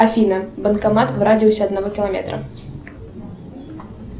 афина банкомат в радиусе одного километра